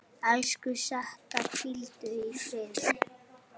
Elsku Setta, hvíldu í friði.